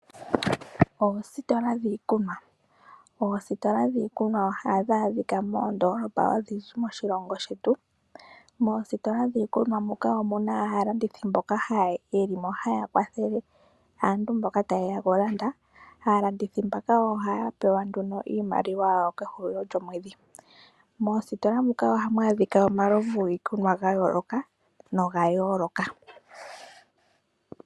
Oositola dhiikunwa, ositola dhiikunwa ohadhi adhika moondoolopa odhindji moshilongo shetu. Moositola dhiikunwa muka omu na aalandithi mboka ye li mo haya kwathele aantu mboka taye ya okulanda. Aalandithi mbaka ohaya pewa nduno iimaliwa yawo kehulilo lyomwedhi. Moositoola muka ohamu adhika omaovu ogendji giikunwa ga yoolokathana.